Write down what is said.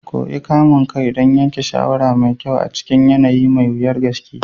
Koyi kamun kai don yanke shawara mai kyau a cikin yanayi mai wuyar gaske.